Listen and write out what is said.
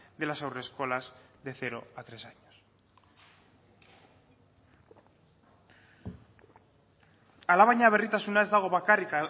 de las haurreskolas de cero a tres años alabaina berritasuna ez dago bakarrik